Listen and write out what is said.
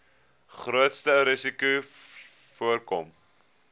grootste risikos voorkom